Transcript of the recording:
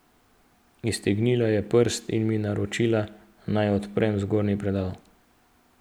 Iztegnila je prst in mi naročila, naj odprem zgornji predal.